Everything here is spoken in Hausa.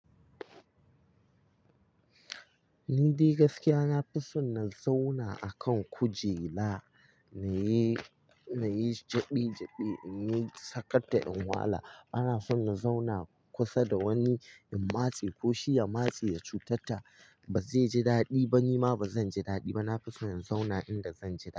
Ni dai gaskiya na fi son na zauna a kan kujera na yi jaɓe-jaɓe, na yi sakata in wala. Bana son na zauna kusa da wani in matse ko shi ya matse ya cutar ta. Ba zai ji daɗi ba, ni ma ba zan ji daɗi ba. Na fi son in zauna inda zan ji daɗi.